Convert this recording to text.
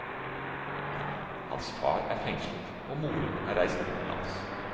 Hans far er fengslet og moren er reist utenlands.